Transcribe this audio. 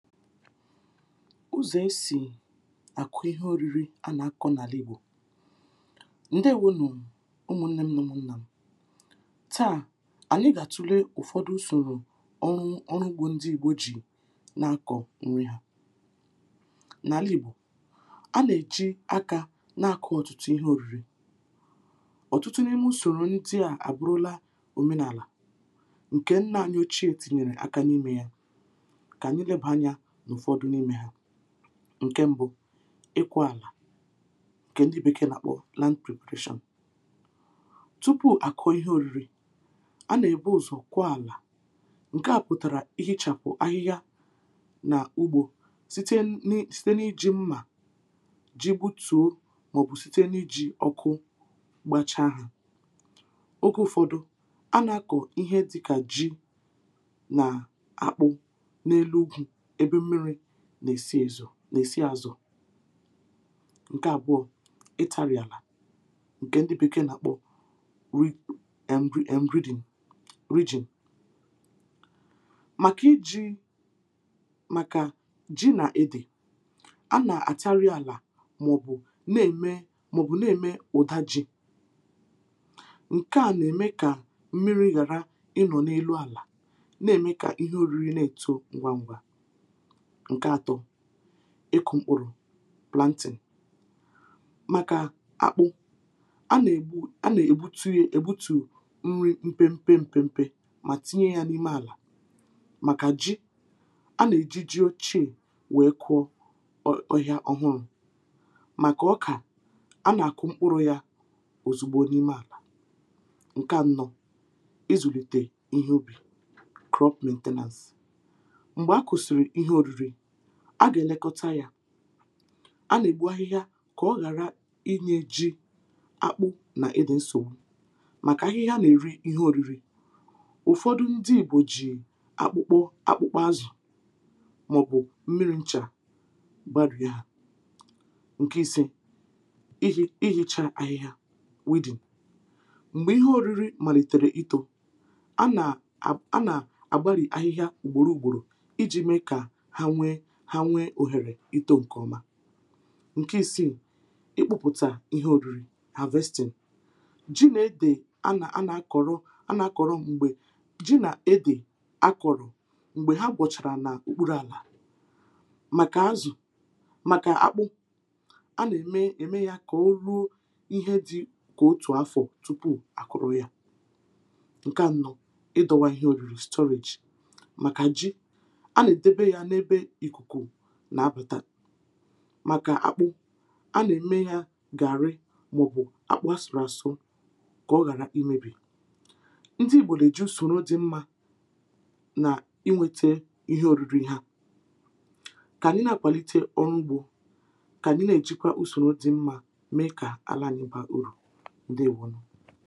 ụzọ e si akụ ihe oriri a na-akọ n’alị igbo. Ndewonu ụmụ nne m na ụmụ nna m, taa anyị ga-atule ụfọdụ usoro ọnwụ ọrụ ugbo ndị igbo ji na-akọ nri ha. N’alị Igbo, a na-eji aka na-akọ ọtụtụ ihe oriri. ọtụtụ n’ime usoro ndị abụrụla omenala nke nna anyị ochie etinyere aka n’ime ya, ka anyị leba anya n'ụfọdụ n’ime ha, ǹke ṁbụ̇, ịkwọ̇ àlà ǹke ndị bekee nà-àkpọ land preparation, tupu àkụ̀ ihe òriri, a nà-èbu ụzọ̀ kwọ àlà ǹke à pụ̀tàrà ihechàpụ̀ ahịhịa nà ugbȯ site n’iji mmà ji butùo màọ̀bụ̀ site n’iji ọkụ gbacha hȧ, oge ụ̀fọdụ, a nà-akọ̀ ihe dịkà ji nà akpụ n'elu ugwu, ebe mmiri na-esi ezo, n’èsi azọ̀. Nke àbụọ̇, ị tȧrị̇ àlà ǹke ndị bekee nà-àkpọ(um) rigi enri dina ridging. Makà iji̇ màkà ji nà-edè a nà-àtari àlà màọ̀bụ̀ na-ème na-eme ụ̀dà ji, ǹke à nà-ème kà mmiri̇ ghàra ịnọ̀ n’elu àlà na-ème kà ihe òriri na-èto ngwangwa. Nke atọ, ikụ̇ mkpụrụ̇ planting, màkà akpụ a nà-ègbu a nà-ègbutu ye ègbutu nri mpempe mpempe mà tinye ya n’ime àlà, màkà ji a nà-èji ji ochie wèe kụọ ọhịa ọhụrụ, màkà ọkà a nà-àkụ mkpụrụ ya ọ̀zọgbọ n’ime àlà. Nke ànọ, ịzụ̀lìtè ihe ubì krọpmentinensi, mgbe akusiri ihe oriri, a gà-èlekọta yȧ, a nà-ègbu ahịhịa kà ọ ghàra inyė ji, akpụ nà ede nsògbu màkà ahịhịa nà-èri ihe òriri, ụ̀fọdụ ndị ìgbo jì akpụkpọ akpụkpọ azụ̀ màọ̀bụ̀ mmiri nchà gbarị ha. Nkè ise, ihi, ihe chȧȧ ahịhịa weedin, m̀gbè ihe òriri màlìtèrè ìto, a nà a a nà-àgbarị ahịhịa ùgbòro ùgbòrò iji mee ka ha nwee ha nwee òhèrè itȯ ǹkè ọma. Nke ìsiì, ị kpụpụ̀tà ihe òriri havestin, jì na-edè a na a na-akọ̀rọ a na-akọ̀rọ m̀gbè jì na-edè a kọ̀rọ̀ m̀gbè ha gbọchàrà n’ùkpuru̇ àlà màkà azụ̀ màkà akpụ a nà-ème ème ya kà o ruo ihe dị kà otù afọ̀ tupu à kụrụ yȧ. Nke ànọ ịdọwa ihe òriri stọrejì, màkà jì na-edebe ya n'ebe ikuku nà-abàtà, màkà akpụ̇ a nà-ème yȧ gàrị màọ̀bụ̀ akpụ̇ asụ̀rụ̀ àsụ ǹkè ọ ghara imėbì. Ndị ìgbò èji ùsòrò dɪ mmȧ nà ị nwėtė ihe orìrì ihe ha kànyị na-àkpàlite ọrụ ugbȯ, kànyị na-èjikwa usoro dɪ mmȧ mee kà ala n’uba urù, ǹdeèwonù.